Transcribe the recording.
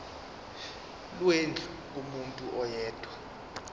lwendlu kumuntu oyedwa